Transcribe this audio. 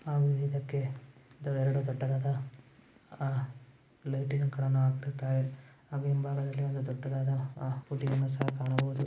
ಅವರು ಇದಕ್ಕೆಎರಡು ದೊಡ್ಡದಾದ ಲೇಟ್ ಕಣೋ ಅಂತ ಹಾಗೆ ಬಹಳ ದೊಡ್ಡದಾದ ಪುಡಿಯನ್ನು ಸಹ ಕಾ ಣಬಹುದು .